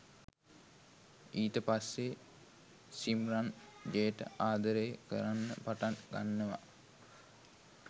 ඊට පස්සේ සිම්රන් ජේට ආදරය කරන්න පටන් ගන්නවා